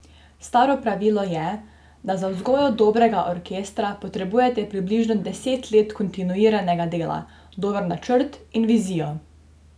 Staro pravilo je, da za vzgojo dobrega orkestra potrebujete približno deset let kontinuiranega dela, dober načrt in vizijo.